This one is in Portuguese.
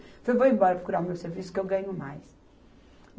Falei, vou embora procurar o meu serviço que eu ganho mais.